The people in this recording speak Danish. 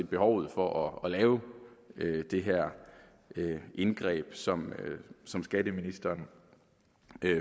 behovet for at lave det her indgreb som som skatteministeren